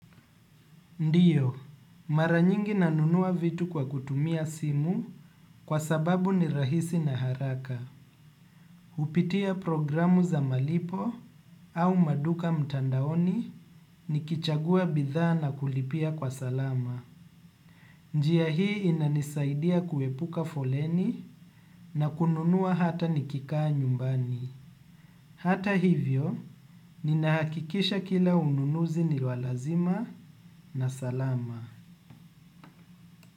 Ndiyo, mara nyingi nanunua vitu kwa kutumia simu kwa sababu ni rahisi na haraka. Kupitia programu za malipo au maduka mtandaoni nikichagua bidhaa na kulipia kwa salama. Njia hii inanisaidia kuepuka foleni na kununua hata nikikaa nyumbani. Hata hivyo, ninahakikisha kila ununuzi ni wa lazima na salama.